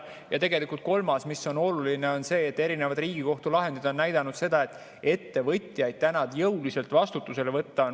Ja kolmas, mis on oluline, on see, et erinevad Riigikohtu lahendid on näidanud, et ettevõtjaid on väga keeruline jõuliselt vastutusele võtta.